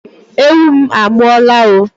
Ewu m a mụọla o!